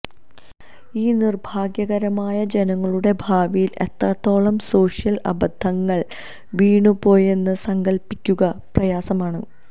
ഈ നിർഭാഗ്യകരമായ ജനങ്ങളുടെ ഭാവിയിൽ എത്രത്തോളം സോഷ്യൽ അബദ്ധങ്ങൾ വീണുപോയി എന്ന് സങ്കൽപ്പിക്കുക പ്രയാസമാണ്